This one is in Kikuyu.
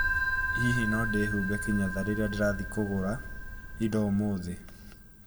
Hihi no ndihumbe kinyatha rĩrĩa ndĩrathiĩ kũgũra indo ũmũthĩ?